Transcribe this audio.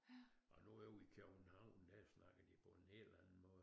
Og nu ude i København der snakker de på en helt anden måde